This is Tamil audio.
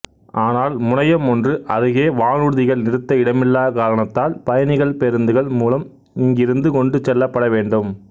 ஆனால் முனையம் ஒன்று அருகே வானூர்திகள் நிறுத்த இடமில்லாக் காரணத்தால் பயணிகள் பேருந்துகள் மூலம் இங்கிருந்து கொண்டு செல்லப்பட வேண்டும்